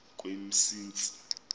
kwemsintsi